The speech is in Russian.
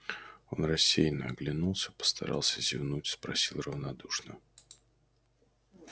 он рассеянно оглянулся постарался зевнуть спросил равнодушно